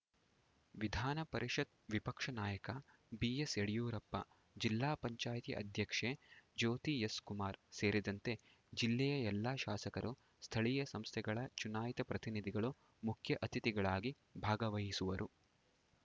ವಿಧಾನ ಪರಿಷತ್‌ ವಿಪಕ್ಷ ನಾಯಕ ಬಿಎಸ್‌ ಯಡಿಯೂರಪ್ಪ ಜಿಲ್ಲಾ ಪಂಚಾಯಿತಿ ಅಧ್ಯಕ್ಷೆ ಜ್ಯೋತಿ ಎಸ್‌ ಕುಮಾರ್‌ ಸೇರಿದಂತೆ ಜಿಲ್ಲೆಯ ಎಲ್ಲಾ ಶಾಸಕರು ಸ್ಥಳೀಯ ಸಂಸ್ಥೆಗಳ ಚುನಾಯಿತ ಪ್ರತಿನಿಧಿಗಳು ಮುಖ್ಯ ಅತಿಥಿಗಳಾಗಿ ಭಾಗವಹಿಸುವರು